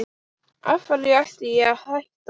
Af hverju ætti ég að hætta?